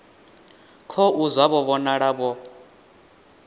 khou zwa vho vhonala vho